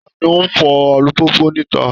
Ta ni ó ń fọ alùpùpù níta?